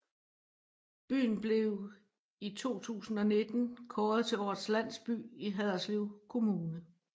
Byen blev i 2019 kåret til Årets Landsby i Haderslev Kommune